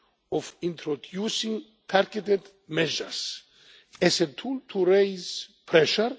of introducing targeted measures as a tool to raise pressure.